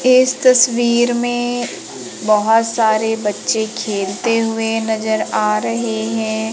इस तस्वीर में बहुत सारे बच्चे खेलते हुए नजर आ रहे हैं।